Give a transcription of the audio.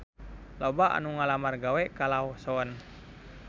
Loba anu ngalamar gawe ka Lawson